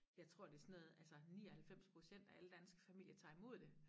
Jeg tror det sådan noget altså 99% af alle danske familier tager i mod det